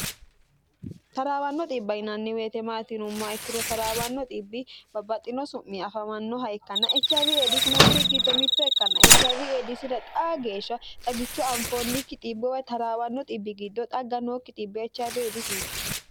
taraawanno xibba yinanni woyite maati yinumma ikkiro taraawanno xibbi babbaxxino su'mi afamannoha ikkanna echiawi eedisino kuri giddo mitto ikkanna echiaw eedisira xaa geeshsha xagichu anfoonnikki xibbuwa taraawanno xibbi giddo xagga nookki xibbi echawi eedisiiti